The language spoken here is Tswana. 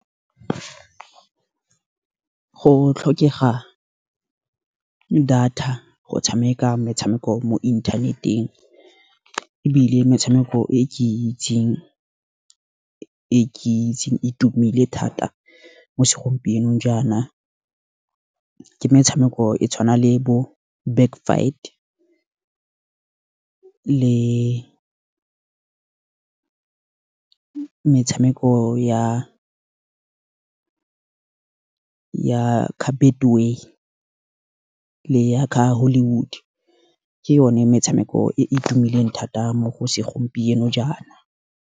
Go tlhokega data go tshameka metshameko mo inthaneteng. Ebile metshameko e ke itseng itumile thata mo segompienong jaana, ke metshameko e tshwana le bo backfight, le metshameko ya carpet way, le ya kha Hollywood. Ke yone metshameko e e tumileng thata mo go segompieno jaana.